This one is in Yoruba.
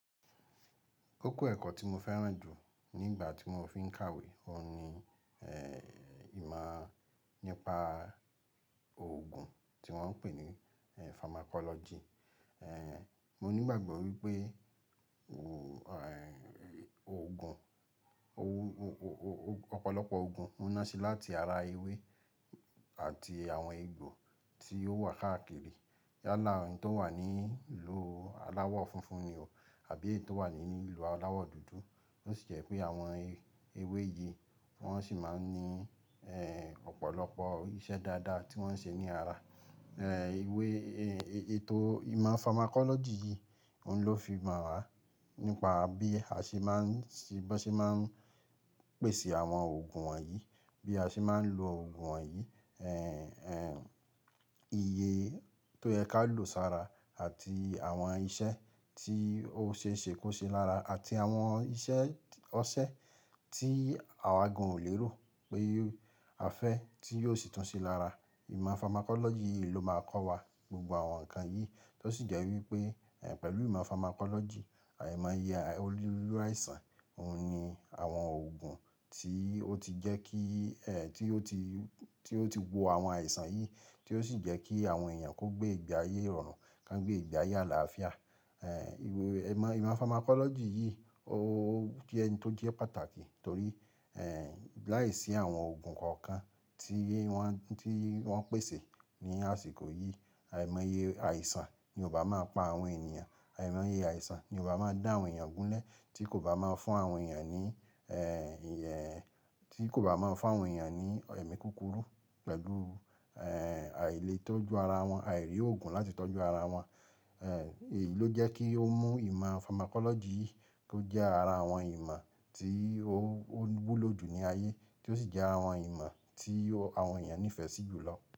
Koko ẹ̀kọ́ tí mo fẹ́ràn jù nígbà tí mo fiń kàwé, òun ni, e, ìmọ̀ nípa òògùn tí wọ́n ń pè ní, e, pharmacology. Eh, mo ní ìgbàgbọ́ wípé, òògùn, o-o-o-o-ọ̀pọ̀lọpọ̀ òògùn ń ná se láti ara ewé àti àwọn egbò tí ó wà káàkiri. Yálà n tó wà ní ìlú aláwọ̀ funfun ni o, àbí ẹyi tó wà ní ìlú aláwọ̀ dúdú. Ó sì jẹ́ pé àwọn ewé yìí wọ́n sì máa ń ní, e, ọ̀pọ̀lọpọ̀ iṣẹ́ dáadáa tí wọ́n ń ṣe ní ara. En, ewé, e-e-ètò ìmọ̀ pharmacology yìí, òun ló fi mọ̀ wá nípa bí a ṣe máa ń ṣe, bí wọ́n ṣe máa ń pèsè àwọn òògùn wọ̀nyí, bí a ṣe máa ń lo òògùn wọ̀nyí, en, en, iye tó yẹ ká lò ó sára àti àwọn iṣẹ́ tí ó ṣe é ṣe kó ṣe lára àti àwọn iṣẹ́ ọṣẹ tí àwa gan ò lérò pé a fẹ́ tí yóò sì tún ṣe lára. Ìmọ̀ pharmacology yìí ló máa ń kọ́ wa gbogbo àwọn nǹkan yìí. Tó sì jẹ́ wípé, en, pẹ̀lú ìmọ̀ pharmacology, àìmọye oniruruaisàn, òun ni àwọn òògùn tí ó ti jẹ́ kí, en, tí ó ti, tí ó ti wo àwọn àìsàn yìí, tí ó sì jẹ́ kí àwọn èèyàn kó gbé ìgbé ayé ìrọ̀rùn, kán gbé ìgbé ayé àlàáfíà. En, ewé, ìmọ̀, ìmọ̀ pharmacology yìí ó jẹ́ n tó jẹ́ pàtàkì torí, en, láìsí àwọn òògùn kankan tí wọ́n, tí wọ́n pèsè ní àsìkò yìí, àìmọye àìsàn ni ó bá máa pa àwọn ènìyàn, àìmọye àìsàn ni ó bá máa dá àwọn èèyàn gúnlé tí kò bá máa fún àwọn èèyàn ní, en, ìyẹn, tí kò bá máa fún àwọn èèyàn ní ẹ̀mí kúkúrú pẹ̀lú, en, àìle tọ́jú ara wọn, àìrí òògùn láti tọ́jú ara wọn. Eh, èyí ló jẹ́ kí ó mú ìmọ̀ pharmacology yìí tó jẹ́ ara àwọn ìmọ̀ tí ó, ó wúlò jù ní ayé, tí ó sì jẹ́ àwọn ìmọ̀ tí àwọn èèyàn nífẹ̀ẹ́ sí jù lọ.